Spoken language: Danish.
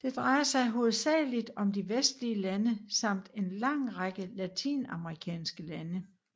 Det drejer sig hovedsageligt om de vestlige lande samt en lang række latinamerikanske lande